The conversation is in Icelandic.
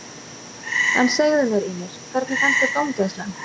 En segðu mér Ýmir, hvernig fannst þér dómgæslan?